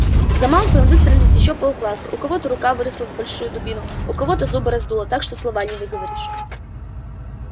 за малфоем выстроились ещё полкласса у кого-то рука выросла с хорошую дубину у кого-то губы раздуло так что слова не выговоришь